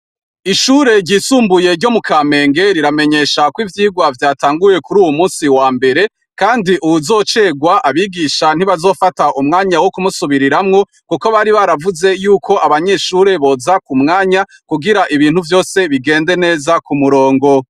Ishure ryisumbuye ryo mukamenge ,riramenyesha ko ivyirwa vyatanguye kuruyu musi wambere, kandi uwuzocerwa abigisha ntibazofata umwanya wo kumusubiriramwo, kuko bari baravuze ko abanyeshure bose boza kumwanya ,kugira ngo ibintu vyose bigende k'umurongo.